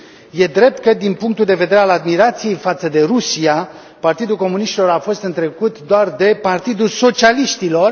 E drept că din punctul de vedere al admirației față de Rusia, Partidul Comuniștilor a fost întrecut doar de Partidul Socialiștilor.